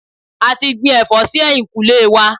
A ti gbin ẹ̀fọ́ sí ẹ̀yìnkùlé wa.